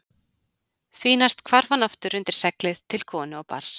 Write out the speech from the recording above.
Því næst hvarf hann aftur undir seglið til konu og barns.